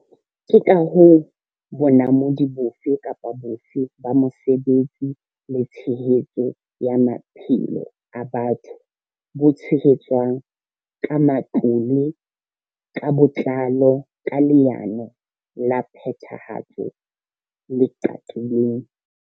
Ke ka hoo bonamodi bofe kapa bofe ba mosebetsi le tshehetso ya maphelo a batho bo tshehetswang ka matlole ka botlalo, ka leano la phethahatso le qaqileng.